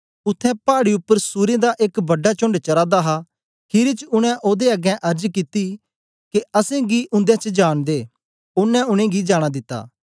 उत्थें पाड़ी उपर सूरें दा एक बड़ा चोण्ड चरा दा हा खीरी च उनै ओदे अगें अर्ज कित्ती के असेंगी उन्दे च जान दे ओनें उनेंगी जाना दिता